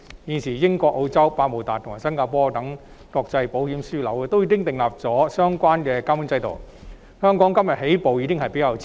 現時，英國、澳洲、百慕達及新加坡等國際保險業樞紐均已訂立相關的監管制度，香港今天才起步，已算是較遲了。